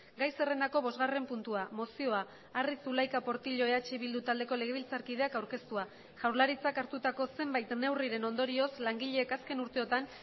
gai zerrendako bosgarren puntua mozioa arri zulaika portillo eh bildu taldeko legebiltzarkideak aurkeztua jaurlaritzak hartutako zenbait neurriren ondorioz langileek azken urteotan